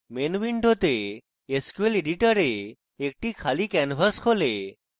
main window sql editor একটি খালি canvas খোলে